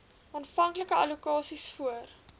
aanvanklike allokasies voor